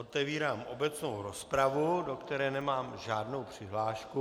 Otevírám obecnou rozpravu, do které nemám žádnou přihlášku.